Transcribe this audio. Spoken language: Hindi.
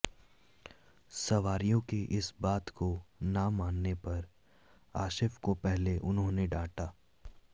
सवारियों की इस बात को ना मानने पर आशिफ को पहले उन्होंने डांटा